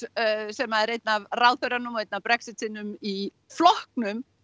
sem er einn af ráðherrunum og einn af Brexit sinnum í flokknum